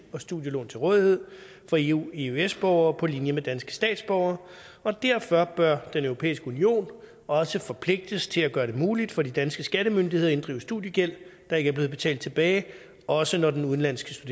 og studielån til rådighed for eu eøs borgere på linje med danske statsborgere og derfor bør den europæiske union også forpligtes til at gøre det muligt for de danske skattemyndigheder at inddrive studiegæld der ikke er blevet betalt tilbage også når den udenlandske